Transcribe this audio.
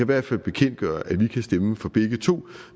hvert fald bekendtgøre at vi kan stemme for begge to